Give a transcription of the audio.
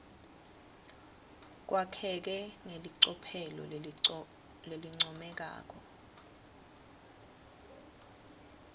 kwakheke ngelicophelo lelincomekako